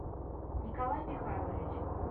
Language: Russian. николай михайлович